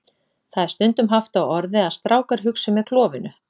Það er stundum haft á orði að strákar hugsi með klofinu.